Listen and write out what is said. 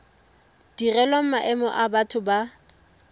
direlwang maemo a batho ba